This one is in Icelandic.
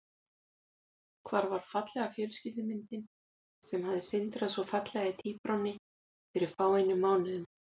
Hvar var fallega fjölskyldumyndin sem hafði sindrað svo fallega í tíbránni fyrir fáeinum mánuðum?